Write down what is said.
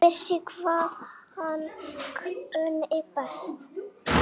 Vissi hvað hann kunni best.